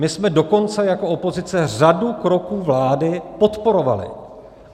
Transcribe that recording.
My jsme dokonce jako opozice řadu kroků vlády podporovali.